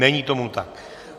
Není tomu tak.